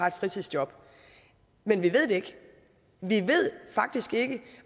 et fritidsjob men vi ved det ikke vi ved faktisk ikke